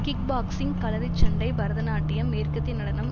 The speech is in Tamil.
கிக் பாக்ஸிங் கலரி சண்டை பரதநாட்டியம் மேற்கத்திய நடனம்